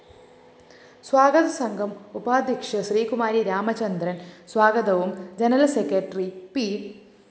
സ്വാഗതസംഘം ഉപാധ്യക്ഷ ശ്രീകുമാരി രാമചന്ദ്രന്‍ സ്വാഗതവും general secretary P